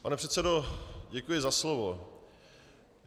Pane předsedo, děkuji za slovo.